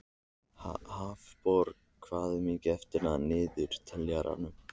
Hafborg, hvað er mikið eftir af niðurteljaranum?